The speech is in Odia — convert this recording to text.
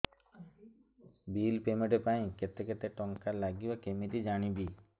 ବିଲ୍ ପେମେଣ୍ଟ ପାଇଁ କେତେ କେତେ ଟଙ୍କା ଲାଗିବ କେମିତି ଜାଣିବି